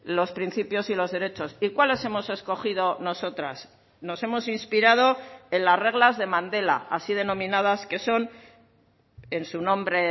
los principios y los derechos y cuáles hemos escogido nosotras nos hemos inspirado en las reglas de mandela así denominadas que son en su nombre